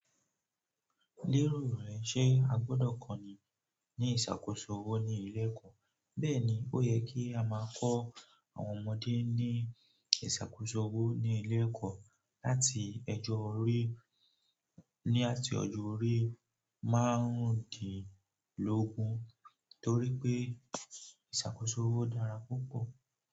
Lérò rẹ ṣe a gbọ́dọ̀ kọ́ni ní ìṣàkóso owo ní ilé ẹ̀kọ́? Bẹ́ẹ̀ni, ó yẹ kí a máa kọ àwọn ọmọdé ní ìṣàkóso owó ní ilé ẹ̀kọ́ láti ẹ̀jọ orí ní àti ọjọ́ orí márundinlógun torí pé ìṣàkóso owó dára púpọ̀.